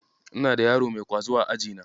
Ina da yaro mai ƙwazo a ajina.